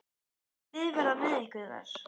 Hvaða lið verða með ykkur þar?